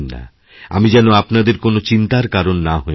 আমি যেন আপনাদের কোনও চিন্তার কারণ না হয়ে পড়ি